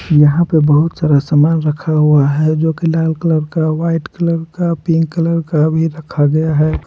यहां पे बहुत सारा सामान रखा हुआ है जो की लाल कलर का व्हाइट कलर का पिंक कलर का भी रखा गया है।